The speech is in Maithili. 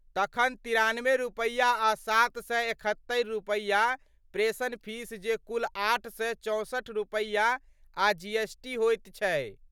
तखन तिरानबे रूपैया आ सात सए एकहत्तरि रूपैया प्रेषण फीस जे कुल आठ सए चौंसठि रूपैया आ जीएसटी होइत छै।